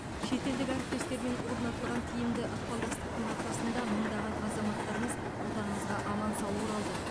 шетелдік әріптестермен орнатылған тиімді ықпалдастықтың арқасында мыңдаған азаматтарымыз отанымызға аман сау оралды